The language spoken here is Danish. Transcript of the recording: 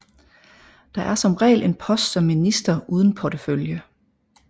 Der er som regel en post som minister uden portefølje